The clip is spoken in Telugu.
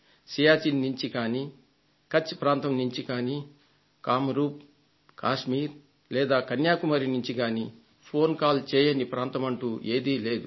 సియాచిన్ నుంచి కానీ కచ్ ప్రాంతం నుంచి కానీ కామరూప్ కాశ్మీర్ లేదా కన్యాకుమారి నుంచి గానీ ఫోన్ కాల్ చేయని ప్రాంతమంటూ ఏదీలేదు